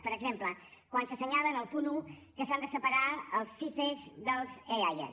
per exemple quan s’assenyala en el punt un que s’han de separar els sife dels eaia